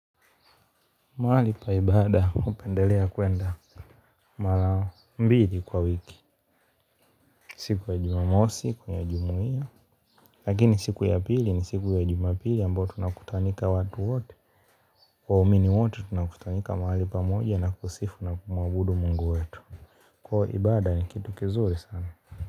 Mahali pa ibada unapopendelea kuenda. Mara mbili kwa wiki. Siku ya jumamosi kuna jumuia. Lakini siku ya pili ni siku ya jumapili ambayo tunakutanika watu wote. Waumini wote tunakutanika mahali pamoja na kusifu na kumuabudu mungu wetu. Kwa hiyo ibada ni kitu kizuri sana.